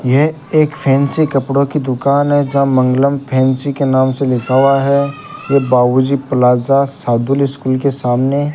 यह एक फैंसी कपड़ों की दुकान है जहां मंगलम फैंसी के नाम से लिखा हुआ है एक बाबूजी प्लाजा सादुल स्कूल के सामने --